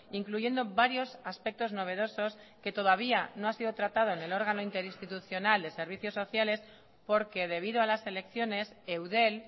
incluyendo varios aspectos novedosos que todavía no ha sido tratado en el órgano interinstitucional de servicios sociales porque debido a las elecciones eudel